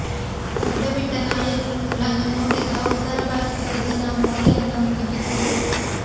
ಗಡ್ಡ ಬಿಟ್ಟ ನಾಯಕ್ ರನ್ನು ನೋಡಿದ ಉತ್ತರ ಭಾರತದ ಜನ ಮೋದಿ ಅಂತ ಮುಗಿಬಿದ್ದರು